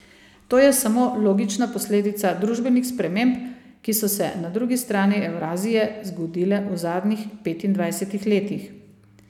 To je samo logična posledica družbenih sprememb, ki so se na drugi strani Evrazije zgodile v zadnjih petindvajsetih letih.